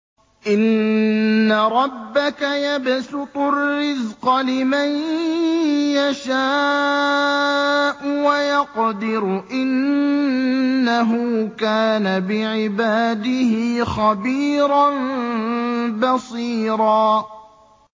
إِنَّ رَبَّكَ يَبْسُطُ الرِّزْقَ لِمَن يَشَاءُ وَيَقْدِرُ ۚ إِنَّهُ كَانَ بِعِبَادِهِ خَبِيرًا بَصِيرًا